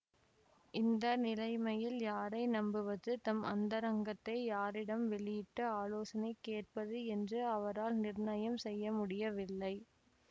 இந்த நிலைமையில் யாரை நம்புவது தம் அந்தரங்கத்தை யாரிடம் வெளியிட்டு ஆலோசனை கேட்பது என்று அவரால் நிர்ணயம் செய்யமுடியவில்லை